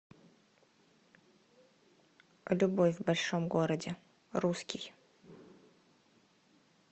любовь в большом городе русский